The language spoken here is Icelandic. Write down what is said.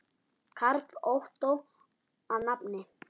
Karl Ottó að nafni.